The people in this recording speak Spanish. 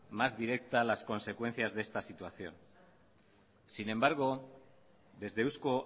más directa las consecuencias de esta situación sin embargo desde euzko